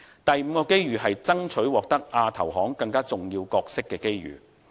第五個機遇，就是爭取獲得亞投行更重要角色的機遇。